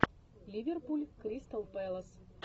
ливерпуль кристал пэлас